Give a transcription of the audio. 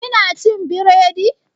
Ki na cin biredi?